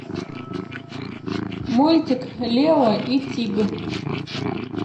мультик лео и тиг